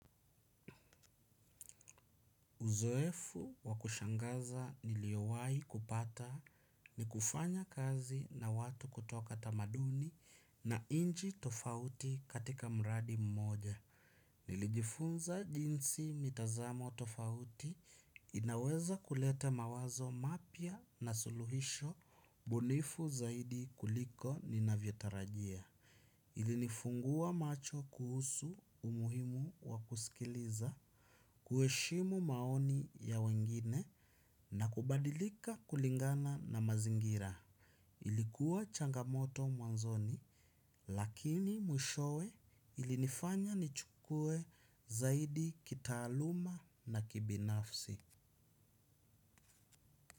Uzoefu wa kushangaza niliowahi kupata ni kufanya kazi na watu kutoka tamaduni na inchi tofauti katika mradi mmoja. Nilijifunza jinsi mitazamo tofauti inaweza kuleta mawazo mapya na suluhisho bunifu zaidi kuliko ninavyotarajia. Ilinifungua macho kuhusu umuhimu wa kusikiliza, kuheshimu maoni ya wengine na kubadilika kulingana na mazingira. Ilikuwa changamoto mwanzoni lakini mwishowe ilinifanya nichukue zaidi kitaaluma na kibinafsi.